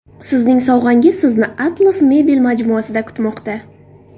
Sizning sovg‘angiz Sizni Atlas Mebel majmuasida kutmoqda.